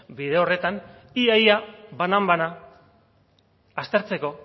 bide horretan ia ia banan bana aztertzeko